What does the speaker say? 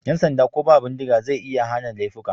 Yan sanda ko ba bindiga zai iya hana laifuka.